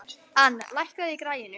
Ann, lækkaðu í græjunum.